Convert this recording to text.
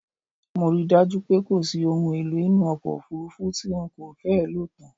Mo ri dájú pé kòsí ohun èlò inú ọkọ̀ òfurufú tí n kò fẹ́ lòtán